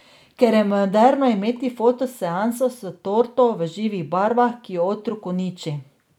Ker je moderno imeti foto seanso s torto v živih barvah, ki jo otrok uniči.